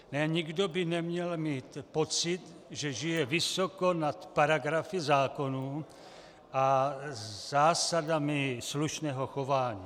Nikdo by neměl mít pocit, že žije vysoko nad paragrafy zákonů a zásadami slušného chování.